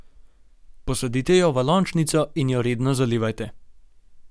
Posadite jo v lončnico in jo redno zalivajte.